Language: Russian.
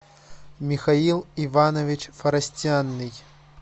михаил иванович форостяный